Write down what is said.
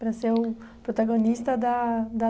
Para ser o protagonista da da